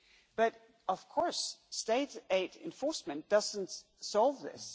But, of course, state aid enforcement does not solve this.